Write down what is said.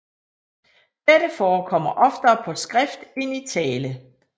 Dette forekommer oftere på skrift end i tale